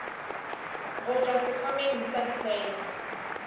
go tšwa sekhwameng sa ditseno